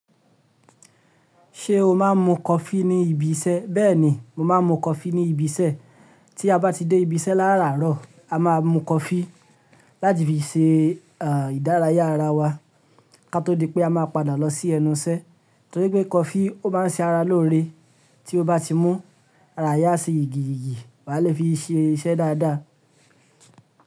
Ṣé o máa ń mu coffee ní ibi iṣẹ́? Bẹ́ẹ̀ni, mo máa ń mu coffee ní ibi iṣẹ́. Tí a bá ti dé ibi iṣẹ́ láràárọ̀, a máa mu coffee láti fi ṣe ìdárayá ara wa ká tó di pé a máa padà lọ sí ẹnu iṣẹ́. Torí pé coffee ó máa ń ṣe ara lóore. Tí o bá ti mú, ara rẹ a ṣe yìgìyìgì, wà le fi ṣe iṣẹ́ dáadáa.